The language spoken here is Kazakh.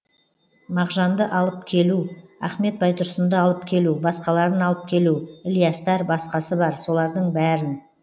мағжанды алып келу ахмет байтұрсұнды алып келу басқаларын алып келу ілиястар басқасы бар солардың бәрін